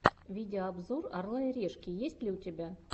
видеообзор орла и решки есть ли у тебя